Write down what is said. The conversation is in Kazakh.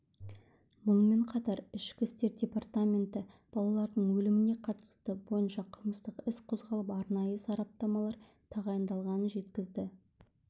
мұнымен қатар ішкі істер департаменті балалардың өліміне қатысты бойынша қылмыстық іс қозғалып арнайы сараптамалар тағайындалғанын жеткізді